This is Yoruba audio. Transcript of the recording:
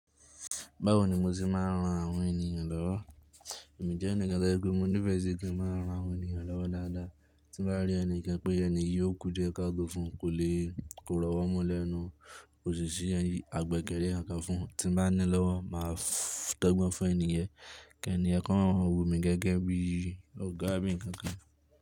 Báwo ni mo ti máa ń ran àwọn ènìyàn lọ́wọ́? Èmi jẹ́ ẹnìkan tí ẹkùn mi ní ìfẹ́ sí kí n máa ran àwọn ènìyàn lọ́wọ́ dáadáa. Tí mo bá rí ẹnìkan pé ènìyí yóò kú di ẹ ká to fún, kò lè kó rọwó mọ́ lẹ́nu, òṣìṣẹ́, àgbẹ̀ kẹ́rẹ́ kankàn fún, tí mo bá ní lọ́wọ́ máa dogbọ́n fún ènìyẹ́n kí ènìyẹ́n kan wọ o mi gẹ́gẹ́ bí ọ̀gá bí ǹkan kan.